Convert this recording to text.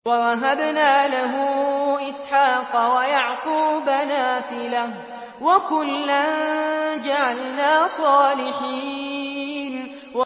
وَوَهَبْنَا لَهُ إِسْحَاقَ وَيَعْقُوبَ نَافِلَةً ۖ وَكُلًّا جَعَلْنَا صَالِحِينَ